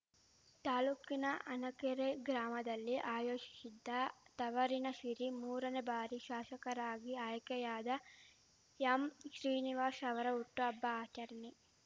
ತಾಲ್ಲೂಕಿನ ಹನಕೆರೆ ಗ್ರಾಮದಲ್ಲಿ ಆಯೋಜಿಶಿದ್ದ ತವರಿನ ಶಿರಿ ಮೂರನೇ ಬಾರಿ ಶಾಶಕರಾಗಿ ಆಯ್ಕೆಯಾದ ಎಂಶ್ರೀನಿವಾಶ್ ಅವರ ಹುಟ್ಟುಹಬ್ಬ ಆಚರಣೆ